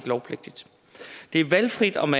lovpligtigt det er valgfrit om